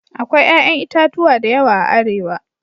Akwai 'ƴa'ƴan itatuwa da yawa a Arewa.